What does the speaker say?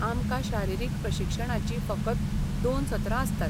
आमकां शारिरीक प्रशिक्षणाचीं फकत दोन सत्रां आसतात.